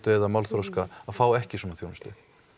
eða málþroska að fá ekki svona þjónustu